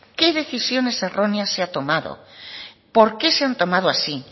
qué decisiones erróneas se han tomado por qué se han tomado así